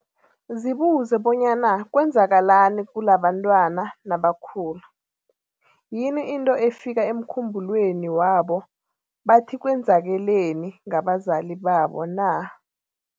Zibuze bonyana kwenzakalani kulabantwana nabakhula, yini into efika emkhumbulweni wabo bathi kwenzakeleni ngabazali babo na?.